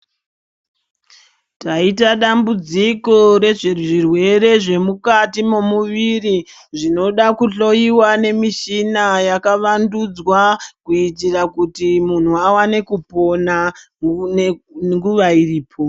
Taita dambudziko rezvezvirwere zvemukati mwemuviri zvinoda kuhloiwa nemushina yakavandudzwa. Kuitira kuti muntu avane kupona nguva iripo.